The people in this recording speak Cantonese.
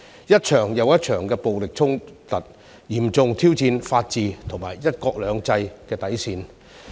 一場又一場的暴力衝突，嚴重挑戰法治和"一國兩制"的底線。